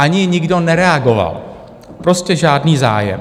Ani nikdo nereagoval, prostě žádný zájem.